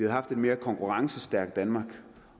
haft et mere konkurrencestærkt danmark